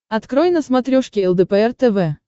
открой на смотрешке лдпр тв